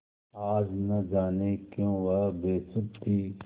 आज न जाने क्यों वह बेसुध थी